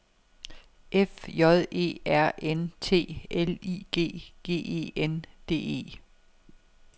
F J E R N T L I G G E N D E